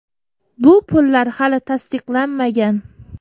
Bu pullar hali tasdiqlanmagan.